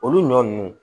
Olu ɲɔ nunnu